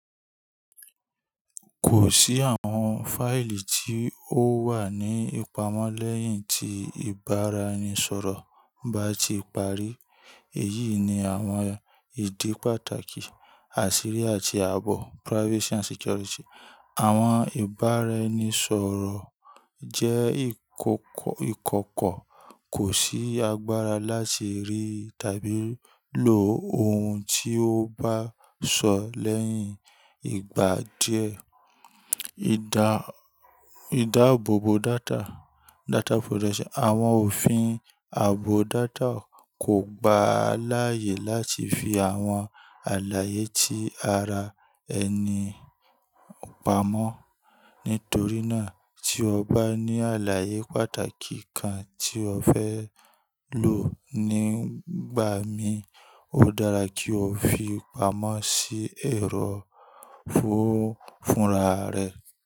Kò sí àwọn fáìlì tí ó wà ní ìpamọ́ lẹ́yìn tí ìbáraẹnisọ̀rọ̀ bá ti parí. Èyí ni àwọn ìdí pàtàkì àṣírí àti àbọ̀ privacy and security. Àwọn ìbáraẹnisọ̀rọ̀ jẹ́ ìkọ̀kọ̀ kò sí agbára láti rí tàbí lò ohun tí o bá sọ lẹ́yìn ìgbà díẹ̀. Ìdáàbòbò data, data protection. Àwọn òfin ààbò data kò gba láyè láti fi àwọn àlàyé tí ara ẹni pamọ́. Nítorí náà tí o bá ní àlàyé pàtàkì kan tí o fẹ́ lò nígbà mí, ó dára kí o fi pamọ́ sí ẹ̀rọ fúnra rẹ.